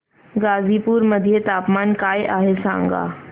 गाझीपुर मध्ये तापमान काय आहे सांगा